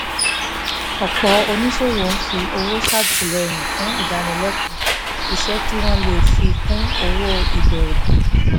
ọ̀pọ̀ oníṣòwò ń fi owó ṣètìlẹyìn fún ìdánilẹ́kọ̀ọ́ iṣẹ́ kí wọ́n lè fi kún owó ìbẹ̀rẹ̀